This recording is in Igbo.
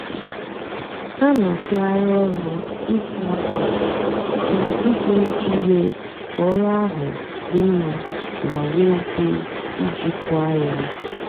hà nà-àtụgharị ọrụ įsá ákwa kwá ízú íjì mée kà ọrụ áhụ dị mmá mà nwée íkè íjìkwá yá.